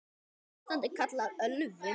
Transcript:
Þetta ástand er kallað ölvun.